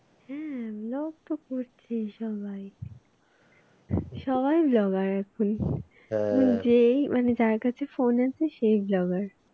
হ্যাঁ blog তো করছে সবাই সবাই blog র এখন যেই মানে যার কাছে phone আছে সেই blogger